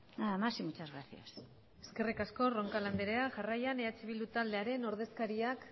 nada más y muchas gracias eskerrik asko roncal anderea jarrian eh bildu taldearen ordezkariak